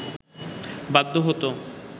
বাধ্য হতো